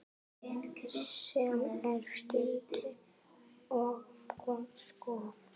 Sem er synd og skömm.